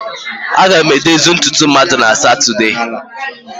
Aga m edozi ntutu mmadụ na Satọde a.